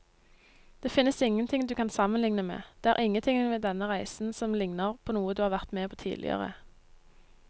Det finnes ingenting du kan sammenligne med, det er ingenting ved denne reisen som ligner på noe du har vært med på tidligere.